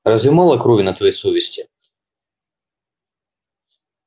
разве мало крови на твоей совести